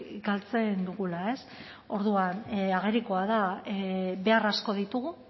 galtzen dugula ez orduan agerikoa da behar asko ditugu